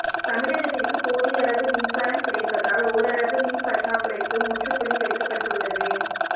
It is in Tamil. தமிழகத்திற்கு போதிய அளவு மின்சாரம் கிடைப்பதால் ஓரளவு மின் பற்றாக்குறைக்கு முற்றுப்புள்ளி வைக்கப்பட்டுள்ளது